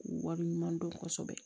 Wale ɲuman dɔn kosɛbɛ